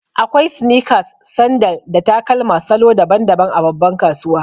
Akwai sneakers, sandal, da takalma salo daban-daban a babban kasuwa.